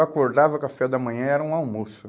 Eu acordava, o café da manhã era um almoço.